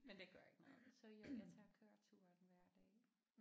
Men det gør ikke noget så ja jeg tager kører turen hver dag